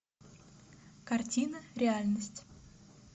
картина реальность